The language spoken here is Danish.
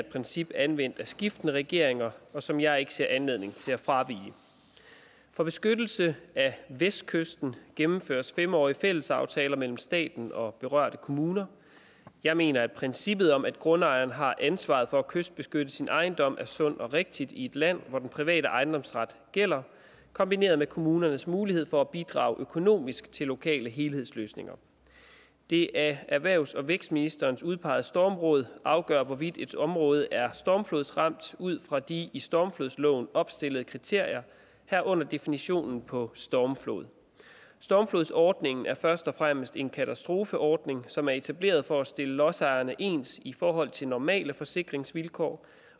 et princip anvendt af skiftende regeringer som jeg ikke ser anledning til at fravige for beskyttelse af vestkysten gennemføres fem årige fællesaftaler mellem staten og berørte kommuner jeg mener at princippet om at grundejeren har ansvaret for at kystbeskytte sin ejendom er sundt og rigtigt i et land hvor den private ejendomsret gælder kombineret med kommunernes mulighed for at bidrage økonomisk til lokale helhedsløsninger det af erhvervs og vækstministeren udpegede stormråd afgør hvorvidt et område er stormflodsramt ud fra de i stormflodslovens opstillede kriterier herunder definitionen på stormflod stormflodsordningen er først og fremmest en katastrofeordning som er etableret for at stille lodsejerne ens i forhold til normale forsikringsvilkår